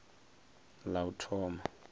ḽauthoma